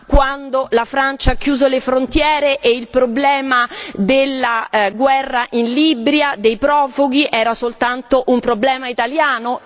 Quando la Francia ha chiuso le frontiere e il problema della guerra in Libia, dei profughi era soltanto un problema italiano?